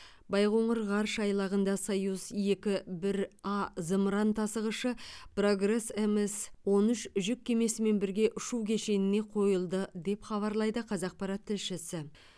байқоңыр ғарыш айлағында союз екі бір а зымыран тасығышы прогресс мс он үш жүк кемесімен бірге ұшу кешеніне қойылды деп хабарлайды қазақпарат тілшісі